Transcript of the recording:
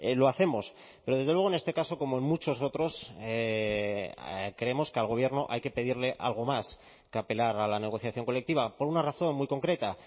lo hacemos pero desde luego en este caso como en muchos otros creemos que al gobierno hay que pedirle algo más que apelar a la negociación colectiva por una razón muy concreta